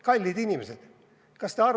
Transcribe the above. Kallid inimesed!